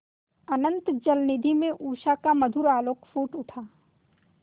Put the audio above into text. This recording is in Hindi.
अनंत जलनिधि में उषा का मधुर आलोक फूट उठा